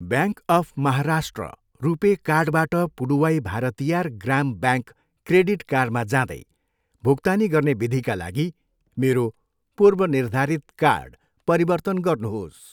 Bank of Maharashtra RuPay कार्डबाट Puduvai Bharathiar Grama bank credit कार्डमा जाँदै भुक्तानी गर्ने विधिका लागि मेरो पूर्वनिर्धारित कार्ड परिवर्तन गर्नुहोस्।